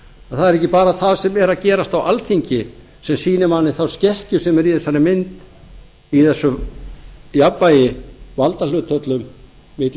það er ekki bara það sem er að gerast á alþingi sem sýnir manni þá skekkju sem er á þessari mynd í þessu jafnvægi valdahlutföllum milli